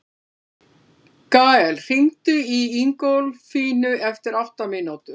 Gael, hringdu í Ingólfínu eftir átta mínútur.